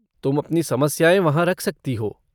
तुम अपनी समस्याएँ वहाँ रख सकती हो।